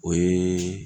O ye